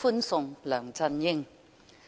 歡送梁振英。